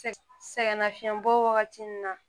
Sɛ sɛgɛnnafiɲɛbɔ wagati nin na